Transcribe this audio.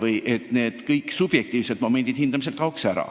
Igasugused subjektiivsed momendid oleksid hindamisel välistatud.